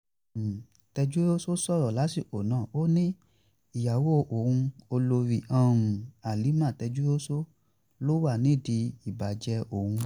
tejúros sọ̀rọ̀ lásìkò náà ó ní ìyàwó òun olórí halima tejúros ló wà nídìí ìbàjẹ́ òun